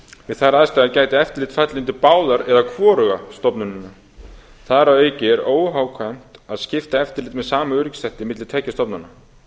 við þær aðstæður gæti eftirlit fallið undir báðar eða hvoruga stofnunina þar að auki er óhagkvæmt að skipta eftirliti með sama öryggisþætti milli tveggja stofnana